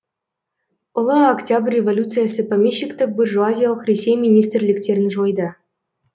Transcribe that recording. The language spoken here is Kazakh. ұлы октябрь революциясы помещиктік буржуазиялық ресей министрліктерін жойды